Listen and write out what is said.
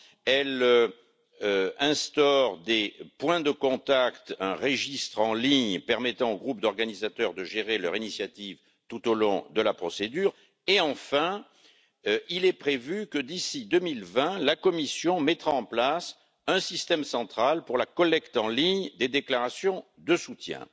Elle instaure des points de contact, un registre en ligne permettant au groupe d'organisateurs de gérer leur initiative tout au long de la procédure et, prévoitque d'ici 2020, la Commission mettra en place un système central pour la collecte en ligne des déclarations de soutien.